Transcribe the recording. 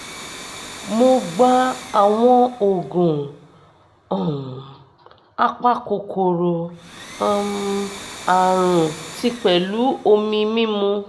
mo gba àwọn oògùn um apakòkòrò um àrùn tí pẹ̀lú omi mimu